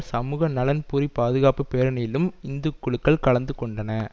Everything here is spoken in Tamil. சமூக நலன்புரி பாதுகாப்பு பேரணியிலும் இந்தக்குழுகள் கலந்து கொண்டன